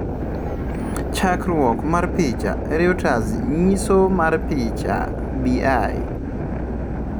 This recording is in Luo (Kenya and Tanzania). Chakruok mar picha, Reauters Nyiso mar pichha, Bi